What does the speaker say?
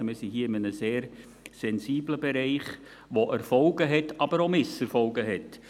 Also: Wir sind hier in einem sehr sensiblen Bereich, der Erfolge, aber auch Misserfolge birgt.